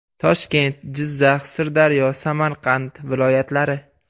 Toshkent, Jizzax, Sirdaryo, Samarqand viloyatlari .